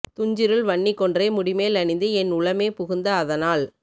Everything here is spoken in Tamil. துஞ்சிருள் வன்னி கொன்றை முடிமேல் அணிந்து என் உளமே புகுந்த அதனால்